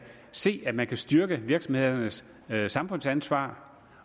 se at man kan styrke virksomhedernes samfundsansvar